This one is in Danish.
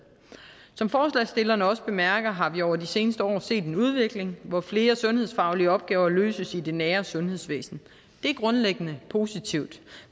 som forslagsstillerne også bemærker har vi over de seneste år set en udvikling hvor flere sundhedsfaglige opgaver løses i det nære sundhedsvæsen det er grundlæggende positivt